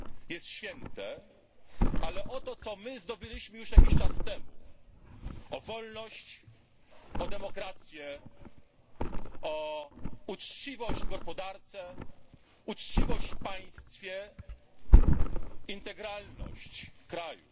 jest święte, ale o to, co my zdobyliśmy już jakiś czas temu o wolność, o demokrację, o uczciwość w gospodarce, uczciwość w państwie, integralność kraju.